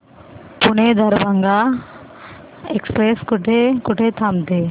Pune Darbhanga express कुठे कुठे थांबते